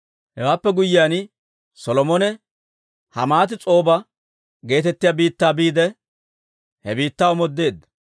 Hewaappe guyyiyaan, Solomone Hamaat-S'ooba geetettiyaa biittaa biide, he biittaa omoodeedda.